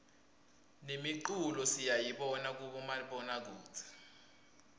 nemiculo siyayibona kubomabonakudze